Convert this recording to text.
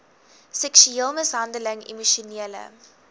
seksuele mishandeling emosionele